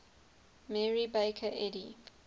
mary baker eddy